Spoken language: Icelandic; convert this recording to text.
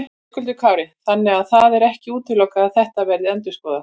Höskuldur Kári: Þannig að það er ekki útilokað að þetta verði endurskoðað?